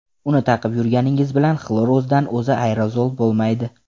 Uni taqib yurganingiz bilan xlor o‘zidan o‘zi aerozol bo‘lmaydi.